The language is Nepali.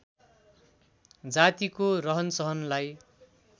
जातिको रहनसहनलाई